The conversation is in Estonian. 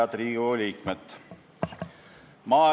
Head Riigikogu liikmed!